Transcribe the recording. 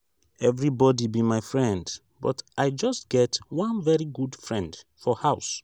everybody be my friend but i just get one very good friend for house